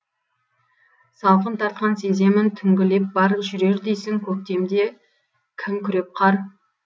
салқын тартқан сеземін түнгі леп бар жүрер дейсің көктемде кім күреп қар